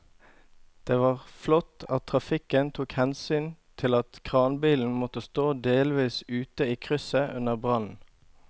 Det var flott at trafikken tok hensyn til at kranbilen måtte stå delvis ute i krysset under brannen.